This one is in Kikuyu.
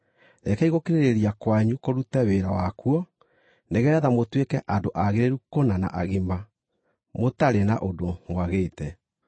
Rekei gũkirĩrĩria kwanyu kũrute wĩra wakuo, nĩgeetha mũtuĩke andũ aagĩrĩru kũna na agima, mũtarĩ na ũndũ mwagĩte.